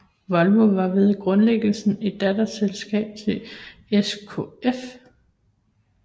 Volvo var ved grundlæggelsen et datterselskab til SKF